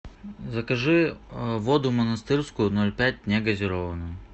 закажи воду монастырскую ноль пять негазированную